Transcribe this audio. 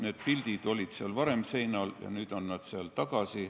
Need pildid olid seal seinal varem ja nüüd on nad seal tagasi.